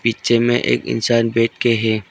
बीचे में एक इंसान बैठ के है।